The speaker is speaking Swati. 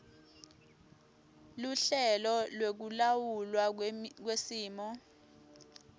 luhlelo lwekulawulwa kwesimo